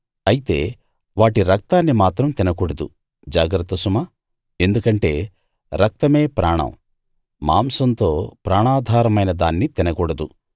అయితే వాటి రక్తాన్ని మాత్రం తినకూడదు జాగ్రత్త సుమా ఎందుకంటే రక్తమే ప్రాణం మాంసంతో ప్రాణాధారమైన దాన్ని తినకూడదు